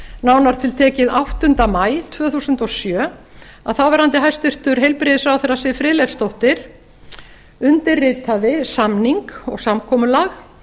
nánar tiltekið áttunda maí tvö þúsund og sjö að þáverandi hæstvirtur heilbrigðisráðherra siv friðleifsdóttir undirritaði samning og samkomulag